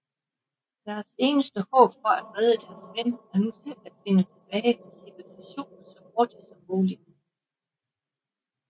Deres eneste håb for at redde deres ven er nu selv at finde tilbage til civilisationen så hurtigt som muligt